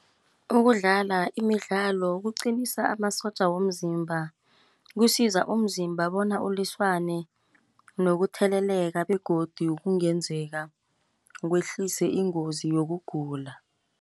Ukudlala imidlalo kuqinisa amasotja womzimba. Kusiza umzimba bona ulwisane nokutheleleka, begodu kungenzeka kwehlise ingozi yokugula.